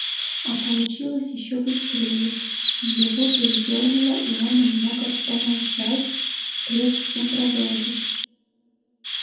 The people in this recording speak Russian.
а получилось ещё быстрее его передёрнуло и он намного помолчал прежде чем продолжить